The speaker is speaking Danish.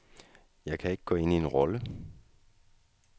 Jeg kan ikke gå ind i en rolle.